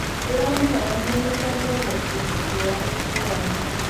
Ndĩramũhoya mũnyitanĩre na ikundi ngũrani ngũrani